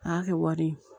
A y'a kɛ wari ye